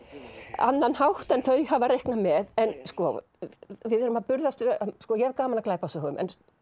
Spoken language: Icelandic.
annan hátt en þau hafa reiknað með við erum að burðast ég hef gaman af glæpasögum